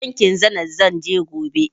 Bankin Zenit zan je gobe.